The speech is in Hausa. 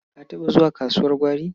Ka taɓa zuwa kasuwar gwari?